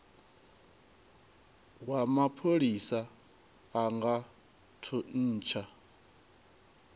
wa mapholisa a nga thuntsha